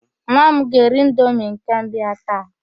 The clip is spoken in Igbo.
Nwa m ga-eri indomi nke mbụ ya taa.